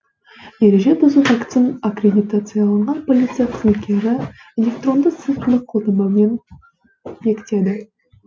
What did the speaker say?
ереже бұзу фактісін аккредитацияланған полиция қызметкері электронды цифрлық қолтаңбамен бекітеді